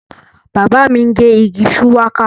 Bàbá mi ń gé igi shuwaka